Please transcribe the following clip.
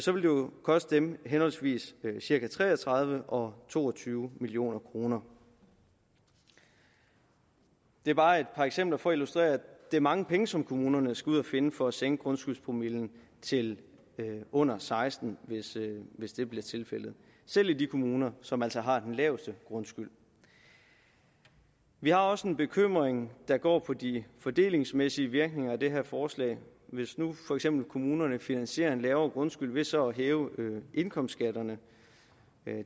jo koste dem henholdsvis cirka tre og tredive og to og tyve million kroner det er bare et par eksempler for at illustrere at det er mange penge som kommunerne skal ud at finde for at sænke grundskyldpromillen til under seksten hvis det bliver tilfældet selv i de kommuner som altså har den laveste grundskyld vi har også en bekymring der går på de fordelingsmæssige virkninger af det her forslag hvis nu for eksempel kommunerne finansierer en lavere grundskyld ved så at hæve indkomstskatterne